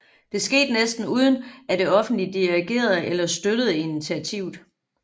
Det skete næsten uden at det offentlige dirigerede eller støttede initiativet